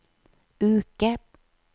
uke